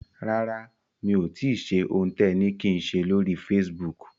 Rárá mi ò tíì ṣe ohun tẹ ni kí n ṣe lóri Facebook.